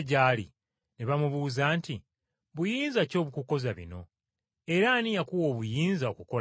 ne bamubuuza nti, “Buyinza ki obukukoza bino? Era ani yakuwa obuyinza okukola bino?”